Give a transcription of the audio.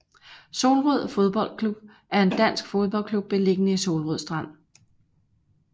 Solrød Fodbold Club er en dansk fodboldklub beliggende i Solrød Strand